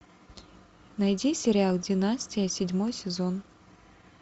найди сериал династия седьмой сезон